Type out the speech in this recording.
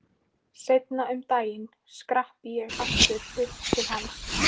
Seinna um daginn skrapp ég aftur upp til hans.